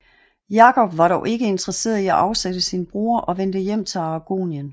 Jakob var dog ikke interesseret i at afsætte sin bror og vendte hjem til Aragonien